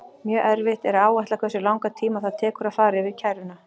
Mjög erfitt er að áætla hversu langan tíma það tekur að fara yfir kæruna.